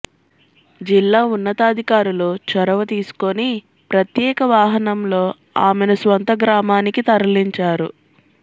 జిల్లా ఉన్నతాధికారులు చొరవ తీసుకొని ప్రత్యేక వాహనంలో ఆమెను స్వంత గ్రామానికి తరలించారు